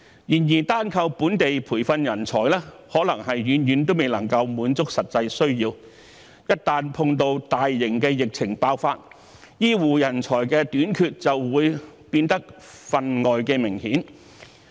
然而，單靠本地培訓人才，可能遠遠未能滿足實際需要，一旦碰到大型的疫情爆發，醫護人才短缺的問題便會變得份外明顯。